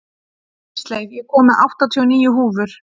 Ísleif, ég kom með áttatíu og níu húfur!